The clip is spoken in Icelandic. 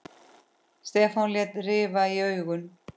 Stefán lét rifa í augun.